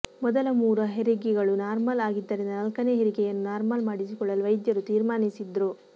ಮೊದಲ ಮೂರು ಹರಿಗೆಗಳು ನಾರ್ಮಲ್ ಆಗಿದ್ದರಿಂದ ನಾಲ್ಕನೇ ಹೆರಿಗೆಯನ್ನು ನಾರ್ಮಲ್ ಮಾಡಿಸಿಕೊಳ್ಳಲು ವೈದ್ಯರು ತೀರ್ಮಾನಿಸಿದ್ರು